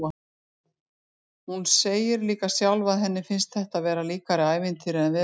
Hún segir líka sjálf að henni finnist þetta vera líkara ævintýri en veruleika.